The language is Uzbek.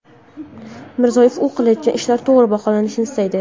Mirziyoyev u qilayotgan ishlar to‘g‘ri baholanishini istaydi.